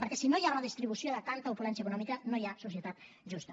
perquè si no hi ha redistribució de tanta opulència econòmica no hi ha societat justa